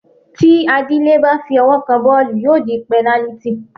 Tí Adílẹ́ bá fi ọwọ́ kan bọ́ọ̀lù, yóò di pẹnálítì.